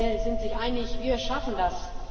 Alle sind sich einig Wir schaffen das.